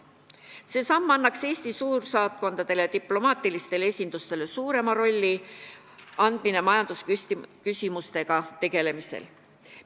See samm annaks Eesti suursaatkondadele ja diplomaatilistele esindustele suurema rolli majandusküsimustega tegelemisel.